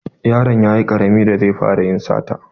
Yaron yayi ƙarami da zai fara yin sata.